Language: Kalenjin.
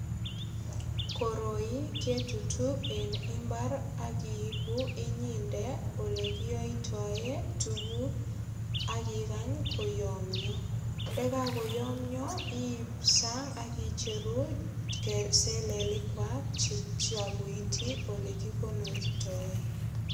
Koroi ketutu eng imbar ak iibu inyende olekiyoitoe tuguk ak ikany koyomyo. Ndakakoyomyo iip sang ak icheru selelikkwai koityi olekikonortoe.